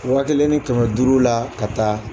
Wa kelen ni kɛmɛ duuru la ka taa